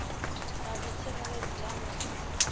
vha vho tsireledzea nga u